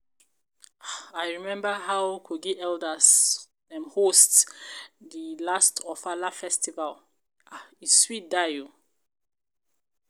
I remember um how kogi elders host di last ofala festival, um e sweat die um